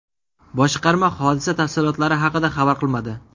Boshqarma hodisa tafsilotlari haqida xabar qilmadi.